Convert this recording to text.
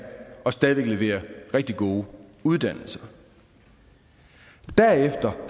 og stadig væk levere rigtig gode uddannelser derefter